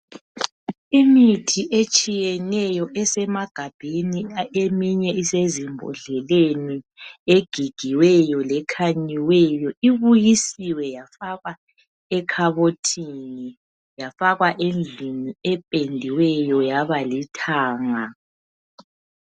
Imithi etshiyeneyo esemagabheni ,eminye isezimbodleleni .Egigiweyo lekhanyiweyo ,ibuyisiwe yafakwa ekhabothini, yafakwa endlini ependiweyo yabalithanga.